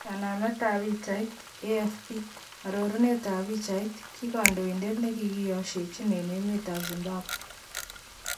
Kanamet ab pichait, AFP arorunet ab pichait, ki kondoidet nemkiyeshechin eng emet ab Zimbabwe.